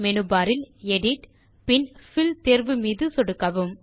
menu bar இல் edit பின் பில் தேர்வு மீதும் சொடுக்கவும்